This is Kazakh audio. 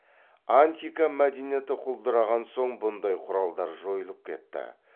антика мәдениеті құлдыраған соң бұндай құралдар жойылып кетті